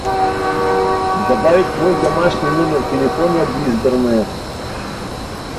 добавить мой домашний номер телефона в избранное